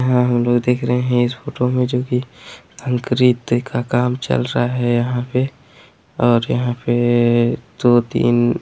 यहाँ हम लोग देख रहे हैं इस फोटो मे जो की का काम चल रहा हैं यहाँ पे और यहाँ पे दो तीन--